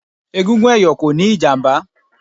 Egungun ẹ̀yọ̀ kò níí ìjàmbá